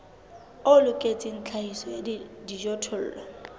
o loketseng tlhahiso ya dijothollo